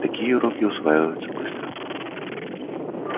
такие уроки усваиваются быстро